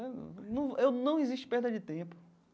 Num eu, não existe perda de tempo.